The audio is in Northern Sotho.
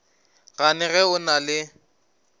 gane ge o na le